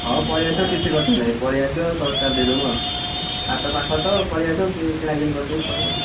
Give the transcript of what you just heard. ହଉ ପଳେଇ ଆସିବ କିଛି କଥା ନାହିଁ ପଳେଇ ଆସିବ ଶସ୍ତାରେ ଦେଇ ଦମୁ ଆଉ, ହାଟ ପାଖରେ ତ ପଳେଇ ଆସିବ କି କିଣାକିଣି କରିଦେଇ ପଳେଇବ ଆଉ।